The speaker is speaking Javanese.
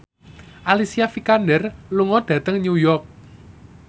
Alicia Vikander lunga dhateng New York